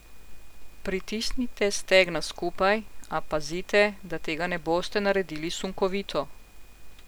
Pritisnite stegna skupaj, a pazite, da tega ne boste naredili sunkovito.